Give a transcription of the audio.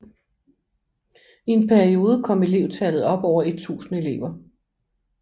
I en periode kom elevtallet op over 1000 elever